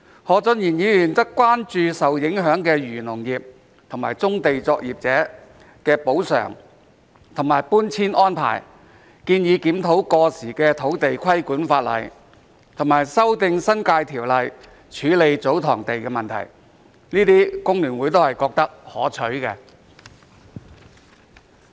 何俊賢議員則關注受影響的漁農業和棕地作業者的補償和搬遷安排，建議檢討過時的土地規管法例，以及修訂《新界條例》處理祖堂地的問題，這些工聯會都認為是可取的。